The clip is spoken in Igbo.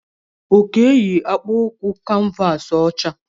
Oke yi akpụkụ kanvasi ọcha